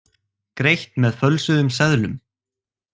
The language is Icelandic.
Greitt með fölsuðum seðlum